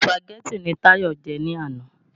Sùpàgẹ́tì ni Táyọ̀ jẹ ni àná.